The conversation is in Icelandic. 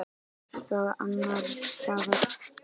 Einhvers staðar annars staðar.